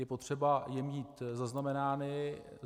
Je potřeba je mít zaznamenány.